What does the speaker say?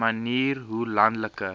manier hoe landelike